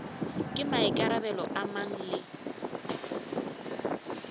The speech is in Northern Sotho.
ke maikarabelo a mang le